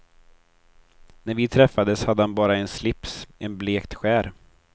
När vi träffades hade han bara en slips, en blekt skär.